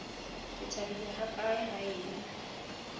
ke thabile hakaale ha e